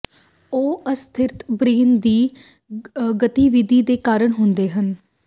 ਉਹ ਅਸਥਿਰ ਬ੍ਰੇਨ ਦੀ ਗਤੀਵਿਧੀ ਦੇ ਕਾਰਨ ਹੁੰਦੇ ਹਨ